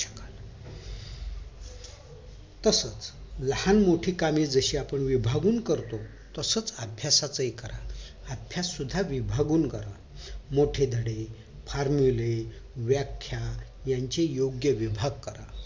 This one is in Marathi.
तसाच लहान मोठी काम जशी आपण विभागून करतो तसच अभ्यासचहि करा अभ्यास सुद्धा विभागून करा मोठे धडे formula व्याख्या यांची योग्य विभाग करा